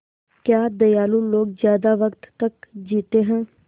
क्या दयालु लोग ज़्यादा वक़्त तक जीते हैं